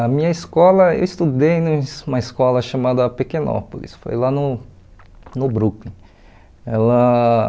A minha escola, eu estudei numa uma escola chamada Pequenópolis, foi lá no no Brooklyn. Ela